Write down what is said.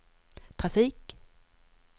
trafik